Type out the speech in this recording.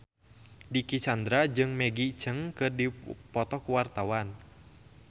Dicky Chandra jeung Maggie Cheung keur dipoto ku wartawan